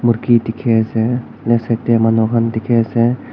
Murgi dekhe ase left side dae manu khan dekhe ase.